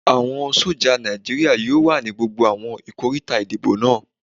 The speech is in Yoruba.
Àwọn sójà Nàìjíríyà yóò wà ní gbogbo àwọn ikoríta ìdìbò náà